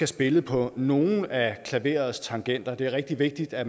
spille på nogle af klaverets tangenter det er rigtig vigtigt at